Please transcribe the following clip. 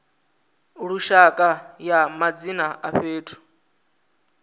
lushaka ya madzina a fhethu